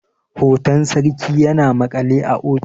hoton sarki yana maƙale a ofis